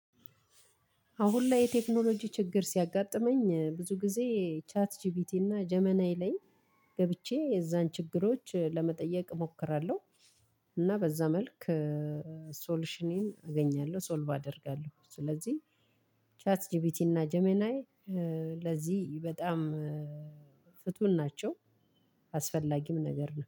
አሁን ላይ የቴክኖሎጂ ችግር ሲያጋጥመኝ ብዙ ጊዜ ቻት ጂቢቲ እና ጀሚናይ ላይ ገብቼ የዛን ችግሮች ለመጠየቅ እሞክራለሁ። እና በዛ መልክ ሶሉሽኔን አገኛለሁ ሶልቭ አደርጋለሁ። ስለዚህ ቻት ጂቢቲ እና ጀሚናይ ለዚህ በጣም ፍቱን ናቸው። አስፈላጊም ነገር ነው